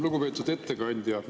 Lugupeetud ettekandja!